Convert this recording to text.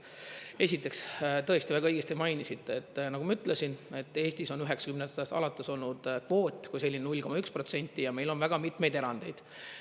Esiteks, tõesti väga õigesti mainisite, et nagu ma ütlesin, et Eestis on 90ndatest alates olnud kvoot kui selline 0,1% ja meil on väga mitmeid erandeid.